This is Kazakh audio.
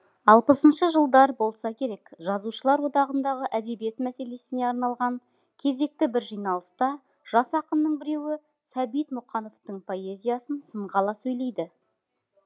алпысыншы жылдар болса керек жазушылар одағындағы әдебиет мәселесіне арналған кезекті бір жиналыста жас ақынның біреуі сәбит мұқановтың поэзиясын сынға ала сөйлейді